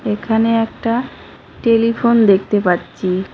এখানে একটা টেলিফোন দেকতে পাচ্চি।